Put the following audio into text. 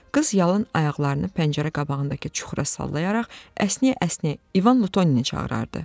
Qız yalın ayaqlarını pəncərə qabağındakı çuxura sallayaraq əsnəyə-əsnəyə İvan Lutoni çağırırdı.